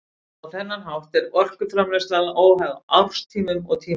Á þennan hátt er orkuframleiðslan óháð árstíðum og tíma dags.